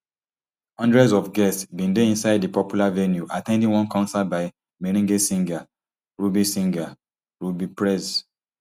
hundreds of guests bin dey inside di popular venue at ten ding one concert by merengue singer rubby singer rubby prez